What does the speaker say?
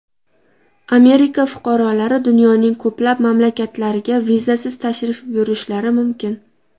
Amerika fuqarolari dunyoning ko‘plab mamlakatlariga vizasiz tashrif buyurishlari mumkin.